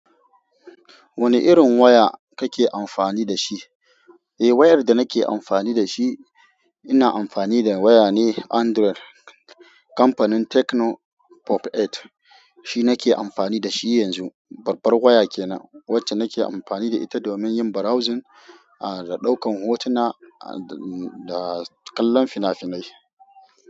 Wane irin waya kake amfani da shi? Eh, wayar da nake amfani da shi, ina amfani da waya ne Android kamfanin Tecno Pop Eight. Shi nake amfani dashi yanzu, babbar waya kenan, wacce nake amfani da ita domin yin browsing, da ɗaukan hotuna, da kallon fina-finai.